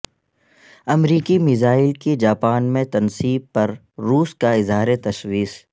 امریکی میزائل کی جاپان میں تنصیب پر روس کا اظہار تشویش